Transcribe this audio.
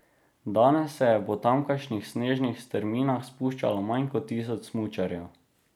Danes se je po tamkajšnjih snežnih strminah spuščalo manj kot tisoč smučarjev.